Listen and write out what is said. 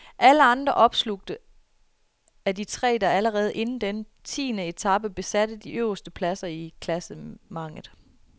Alle andre opslugtes af de tre, der allerede inden denne tiende etape besatte de øverste pladser i klassementet.